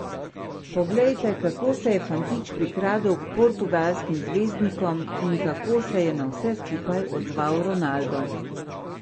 Poglejte, kako se je fantič prikradel k portugalskim zvezdnikom in kako se je na vse skupaj odzval Ronaldo.